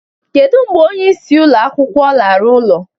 Kedu mgbe onyeisi ụlọ akwụkwọ lara ụlọ?